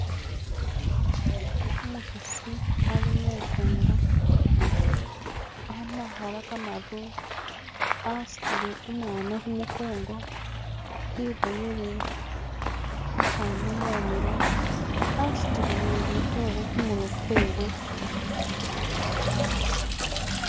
umuhasi ali mukunda ama hala kamaru asutile umwana humukongo iboyele hahanu mumilo asutile nilitore humurwe kwewe